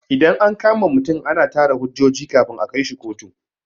Idan an kama mutum ana tara hujjoji kafin a kaishi kotu.